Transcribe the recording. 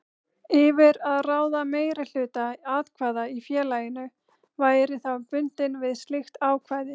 yfir að ráða meirihluta atkvæða í félaginu væri þá bundinn við slíkt ákvæði.